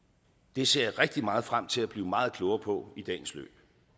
det ser jeg rigtig meget frem til at blive meget klogere på i dagens løb